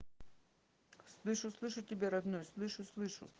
слышу слышу тебя родной слышу слышу